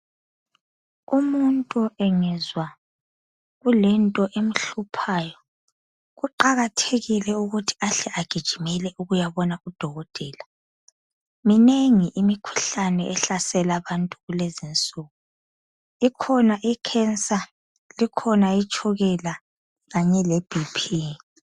Umuntu engezwa kulento emhluphayo kuqakathekile ukuthi ahle agijimele ukuyabona udokotela. Minengi imikhuhlane ehlasela abantu kulezinsuku ikhona ikhensa, ikhona itshukela kanye lebhiphi.